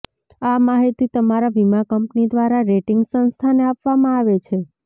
આ માહિતી તમારા વીમા કંપની દ્વારા રેટિંગ સંસ્થાને આપવામાં આવે છે